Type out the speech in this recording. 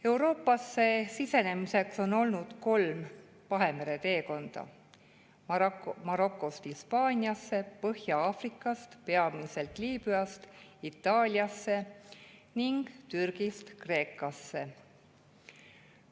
Euroopasse sisenemiseks on olnud kolm teekonda üle Vahemere: Marokost Hispaaniasse, Põhja-Aafrikast, peamiselt Liibüast, Itaaliasse ning Türgist Kreekasse.